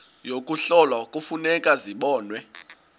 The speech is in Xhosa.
yokuhlola kufuneka zibonwe